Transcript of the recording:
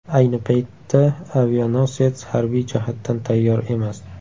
Ayni paytda avianosets harbiy jihatdan tayyor emas.